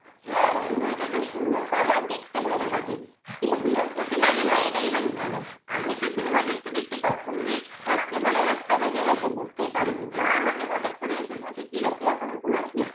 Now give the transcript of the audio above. হ্যাঁ অভিনয়টা খুব সুন্দর করে আর দেখতে ভালো লাগে কিন্তু বিরক্ত যে লাগে এটাই বেশ ভালো আমিতো cinema দেখতে দেখতে কখন যে রাত্রিবেলায় একটা বেজে গেছে বুঝতে বুঝতেই পারিনি মা আমাকে হঠাৎ করে বলছি তুই এখনো ঘুমাসনি ৷